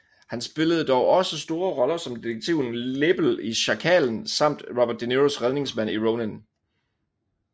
Han spillede dog også store roller som detektiven Lebel i Sjakalen samt Robert de Niros redningsmand i Ronin